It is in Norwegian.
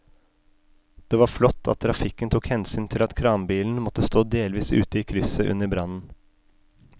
Det var flott at trafikken tok hensyn til at kranbilen måtte stå delvis ute i krysset under brannen.